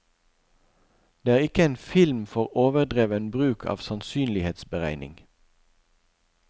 Dette er ikke en film for overdreven bruk av sannsynlighetsberegning.